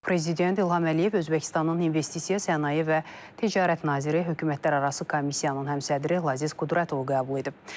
Prezident İlham Əliyev Özbəkistanın investisiya, sənaye və ticarət naziri, hökumətlərarası komissiyanın həmsədri Laziz Qudrətovu qəbul edib.